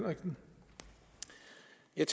en